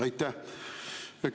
Aitäh!